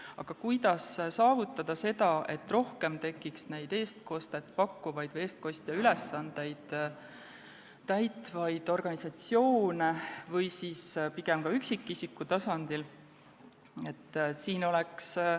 Aga kuidas saavutada seda, et tekiks rohkem neid eestkostet pakkuvaid või eestkosteülesandeid täitvaid organisatsioone või et see toimuks ka üksikisiku tasandil?